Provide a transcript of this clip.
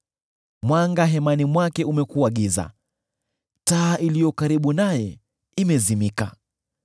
Mwanga hemani mwake umekuwa giza; taa iliyo karibu naye imezimika.